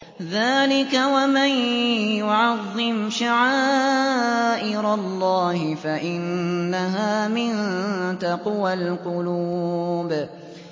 ذَٰلِكَ وَمَن يُعَظِّمْ شَعَائِرَ اللَّهِ فَإِنَّهَا مِن تَقْوَى الْقُلُوبِ